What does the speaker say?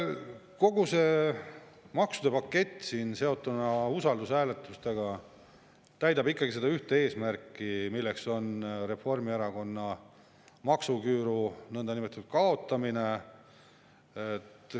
Kogu see maksude pakett usaldushääletustega seotuna täidab ikkagi seda ühte eesmärki, milleks on Reformierakonna maksuküüru nõndanimetatud kaotamine.